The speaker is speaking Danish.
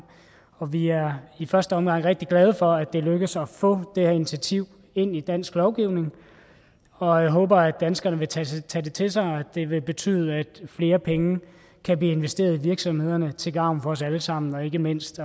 og vi er i første omgang rigtig glade for at det er lykkedes at få det her initiativ ind i dansk lovgivning og jeg håber at danskerne vil tage tage det til sig og det vil betyde at flere penge kan blive investeret i virksomhederne til gavn for os alle sammen og ikke mindst